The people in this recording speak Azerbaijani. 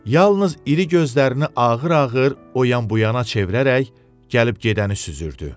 Yalnız iri gözlərini ağır-ağır o yan-bu yana çevirərək gəlib gedəni süzürdü.